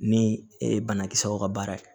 Ni e banakisɛw ka baara ye